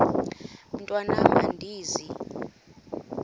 mntwan am andizi